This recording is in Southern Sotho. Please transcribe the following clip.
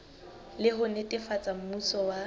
le ho netefatsa mmuso wa